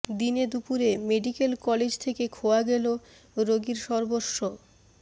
দিনে দুপুরে medical college থেকে খোয়া গেল রোগীর সর্বস্ব